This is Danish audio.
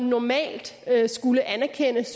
normalt skulle anerkendes